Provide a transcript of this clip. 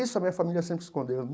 Isso a minha família sempre escondeu.